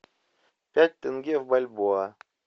пять тенге в бальбоа